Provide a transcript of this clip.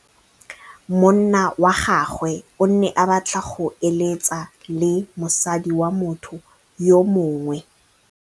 Monna wa gagwe o ne a batla go êlêtsa le mosadi wa motho yo mongwe.